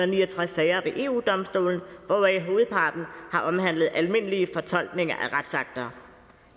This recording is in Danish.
ni og tres sager ved eu domstolen hvoraf hovedparten har omhandlet almindelige fortolkninger af retsakter